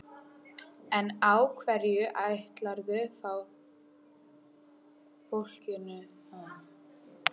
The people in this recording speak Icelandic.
En á hverju ætlarðu þá fólkinu að lifa?